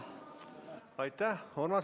Aitäh!